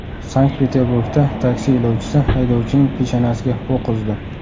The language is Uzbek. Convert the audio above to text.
Sankt-Peterburgda taksi yo‘lovchisi haydovchining peshonasiga o‘q uzdi.